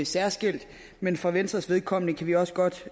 særskilt men for venstres vedkommende kan vi også godt